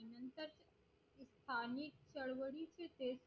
आणि चळवळीचे